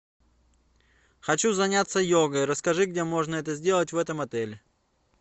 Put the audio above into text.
хочу заняться йогой расскажи где можно это сделать в этом отеле